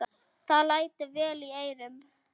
Það lætur vel í eyrum.